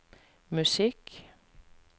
musikk